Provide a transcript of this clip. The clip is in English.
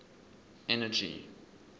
energy